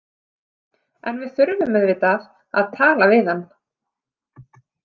En við þurfum auðvitað að tala við hann.